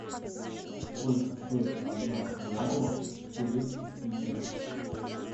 сколько стоит одна реалов в турецких лирах